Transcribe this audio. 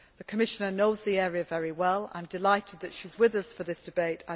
The Commissioner knows the area very well. I am delighted that she is with us for this debate.